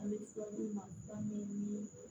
An bɛ fura d'u ma ka ɲɛ ni